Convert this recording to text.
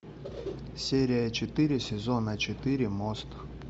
серия четыре сезона четыре мост